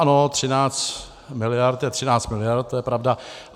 Ano, 13 miliard je 13 miliard, to je pravda.